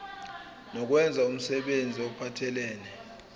nokwenza umsebenzi ophathelene